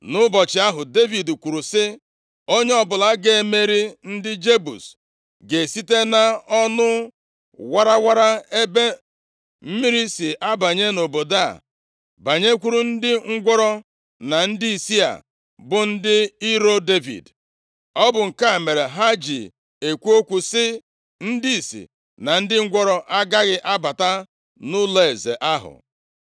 Nʼụbọchị ahụ, Devid kwuru sị, “Onye ọbụla ga-emeri ndị Jebus ga-esite nʼọnụ warawara ebe mmiri si abanye nʼobodo a banyekwuru ndị ngwụrọ na ndị ìsì a bụ ndị iro Devid.” Ọ bụ nke a mere ha ji ekwu okwu sị, “Ndị ìsì na ndị ngwụrọ agaghị abata nʼụlọeze ahụ.”